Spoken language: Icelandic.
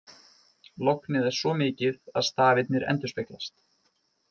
Lognið er svo mikið að stafirnir endurspeglast.